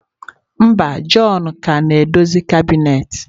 Mba, john ka na-edozi kabinet.